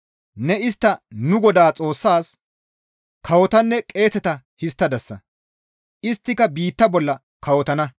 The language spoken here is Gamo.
Ne istta nu Godaa Xoossaas kawotanne qeeseta histtadasa; isttika biitta bolla kawotana.»